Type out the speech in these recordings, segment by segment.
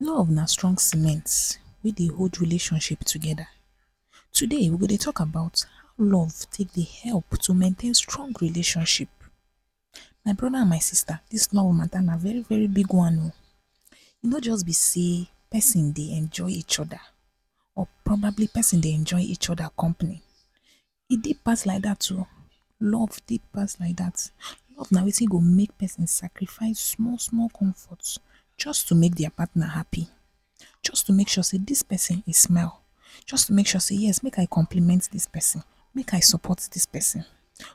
Love na strong cement, way dey hold relationships together. Today we go dey talk about love how love take dey help to maintain strong relationship. My brother and my sister dis love mata na very very big one oh. E no just be say person dey enjoy each other or probably person dey enjoy each other company. E deep pass like dat o, love deep pass like that. Love na watin go make person sacrifices small small comfort just to make their partner happy, just to make sure say dis person e smile, just to make sure say “yes! Make I compliment this person, make I support this person”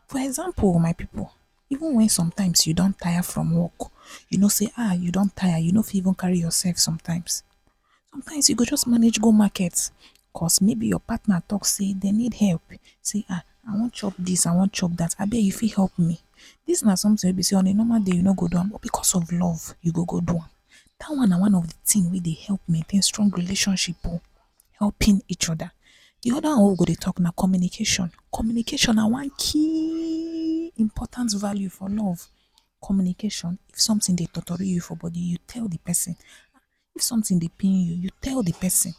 for example my people even sometimes when you don tire from work, you know say um you don tire you no feet even carry yourself sometimes. Sometimes you go just manage go market, coz maybe you partner talk say them need help, say um “ I wan chop dis I wan chop dat. Abeg you feet help me? Dis na something way be say on a normal day you no go do am but because of love you go go do am. Dat one na one of de thing way dey help maintain strong relationship oh. Helping each other. De other one wey we go dey talk na communication. Communication na one keyyyyyyyy! Important value for love. Communication, if something dey tortory you for body, you tell de person. If something dey pain you, you tell de person.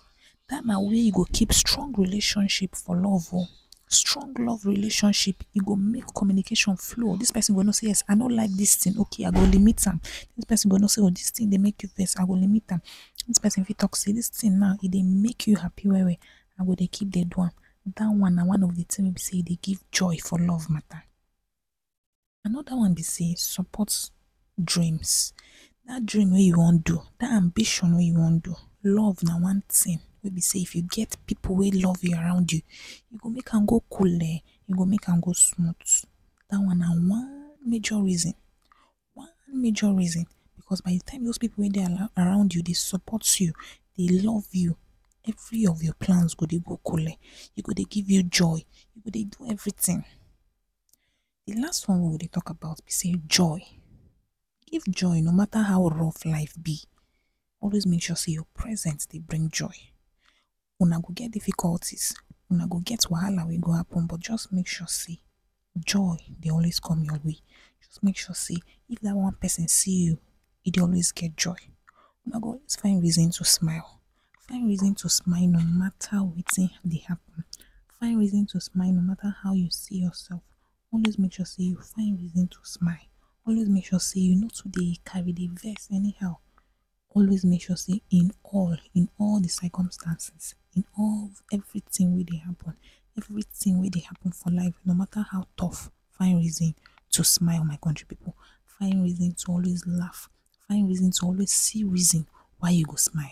Dat na way you go keep strong relationship for love o. strong love relationship, e go make communication flow, this person go know say yes” I no like this thing, okay yes I go limit am” dis person go know say “oh, dis thing dey make you vex? I go limit am” dis person fit talk say “dis thing naaa, e dey make you happi well well, I go dey keep dey do am” dat on na one of de thing way be say e dey give joy for love mata. Another one be say support dreams. Dat dream way you wan do, dat ambition way you wan do. Love na one thing way be say if you get people way love you around you, e go make am go coolee, e go make am go smooth. Dat one na one major reason, one major reason, because by de time those people way dey around you dey support you, dey love you, every of your plans go dey go coole. E go dey give you joy. You go dey do everything. De last one way we go dey talk about be say joy. If joy, no matter how rough life be, always make sure you present dey bring joy. Una go get difficulties, una go get wahala way go happen, but just make sure say joy dey always come your way. Just make say if dat one person see you, e dey always get joy. Una go always find reason to smile, find reason to smile no matter watin dey happen, find reason to smile no matter how you see yourself. Always make sure say you find reason to smile. Always make sure say you no to dey cari dey vex anyhow, always make sure say in all, in all de circumstances, in all everything way dey happen, everything way dey happen for life, no matter how tough, find reason to smile my country people. Find reason to always laugh, find reason to always see reason why you go smile